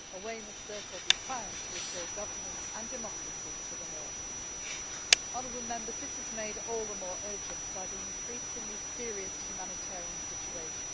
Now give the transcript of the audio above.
A way must therefore be found to restore governance and democracy to the North. This is made all the more urgent by the increasingly serious humanitarian situation.